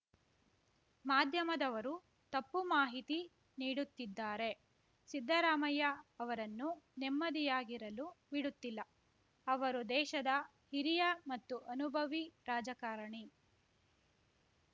ಮಾಧ್ಯಮದವರು ತಪ್ಪು ಮಾಹಿತಿ ನೀಡುತ್ತಿದ್ದಾರೆ ಸಿದ್ದರಾಮಯ್ಯ ಅವರನ್ನು ನೆಮ್ಮದಿಯಾಗಿರಲು ಬಿಡುತ್ತಿಲ್ಲ ಅವರು ದೇಶದ ಹಿರಿಯ ಮತ್ತು ಅನುಭವಿ ರಾಜಕಾರಣಿ